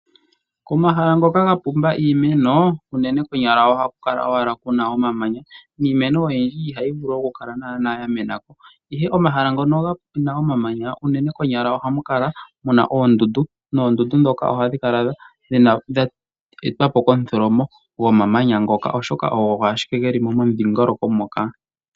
Komahala ngoka ga pumba iimeno unene konyala ohaku kala owala kuna omamanya niimeno oyindji ihayi vulu okukala naa yamena ko, ihe omahala ngono kuna omamanya unene konyala ohamu kala kuna oondundu noondundu dhoka ohadhi kala dha etwapo komutholomo go mamanya ngoka oshoka odho ashike dhilimo momudhingoloko moka.